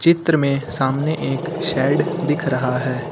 चित्र में सामने एक शेड दिख रहा है।